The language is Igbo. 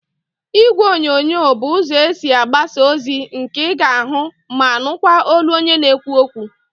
Ígwèonyonyo bụ ụzọ esi agbasa ozi nke ị ga-ahụ ma nụkwa olu onye na-ekwu okwu.